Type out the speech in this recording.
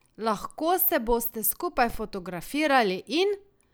Lahko se boste skupaj fotografirali in ...